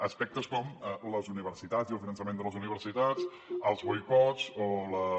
aspectes com les universitats i el finançament de les universitats els boicots o les